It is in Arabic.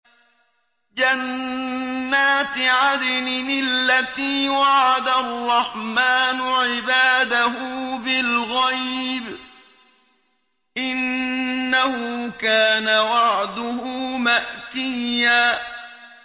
جَنَّاتِ عَدْنٍ الَّتِي وَعَدَ الرَّحْمَٰنُ عِبَادَهُ بِالْغَيْبِ ۚ إِنَّهُ كَانَ وَعْدُهُ مَأْتِيًّا